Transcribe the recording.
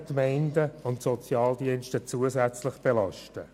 Dadurch werden die Gemeinden und Sozialdienste zusätzlich belastet.